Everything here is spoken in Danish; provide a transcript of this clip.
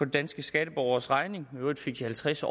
danske skatteborgeres regning i øvrigt fik de halvtreds